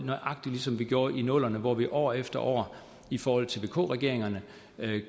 nøjagtig ligesom vi gjorde i nullerne hvor vi år efter år i forhold til vk regeringerne